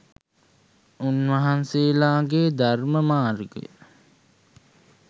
උන්වහන්සේලාගේ ධර්ම මාර්ගය